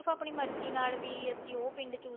ਕੇ ਆਪਣੀ ਮਰਜ਼ੀ ਨਾਲ ਵੀ ਅਸੀਂ ਉਹ ਪਿੰਡ